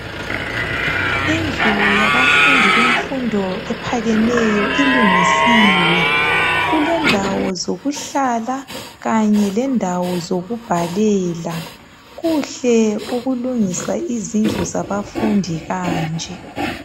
Indlu yabafundi bemfundo ephakemeyo ilungisiwe, kulendawo zokuhlala kanye lendawo zokubhalela. Kuhle ukulungisa izindlu zabafundi kanje.